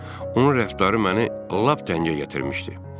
Onun rəftarı məni lap dəngə gətirmişdi.